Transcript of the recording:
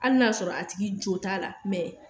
Hali n 'a y'a sɔrɔ a tigi jo t'a la mɛ